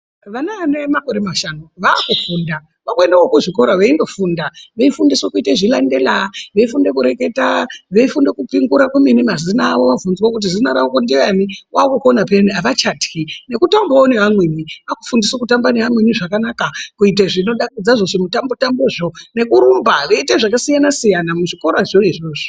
Vana ane makore mashanu vaku funda vaku endewo ku zvikora veindo funda vei fundiswa kuite zvilandela vei funde kureketa vei funda kupingura kwemene mazino avo vabvunzwa kuti zina rako ndiyani kwaku kona peyani avachatyi neku tambawo ne amweni aku fundiswa kutamba ne amweni zvakanaka kuite zvino dakadza zvo zvi mutambo tambo zvo nekurumba veite zvaka siyana siyana mu zvikorazvo izvozvo.